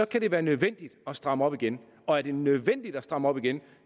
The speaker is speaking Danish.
kan det være nødvendigt at stramme op igen og er det nødvendigt at stramme op igen